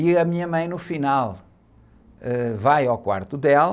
E a minha mãe, no final, ãh, vai ao quarto dela,